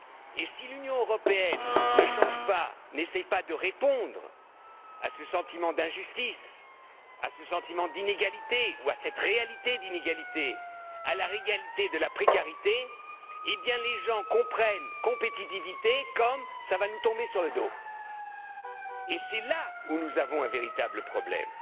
Et si l'Union européenne ne change pas, n'essaie pas de répondre à ce sentiment d'injustice, à ce sentiment d'inégalité ou à cette réalité d'inégalité, à la réalité de la précarité, eh bien les gens comprennent compétitivité comme ça va nous tomber sur le dos. Et c'est là où nous avons un véritable problème,